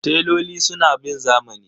Teloli suna bin zamani.